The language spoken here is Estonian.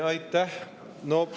Aitäh!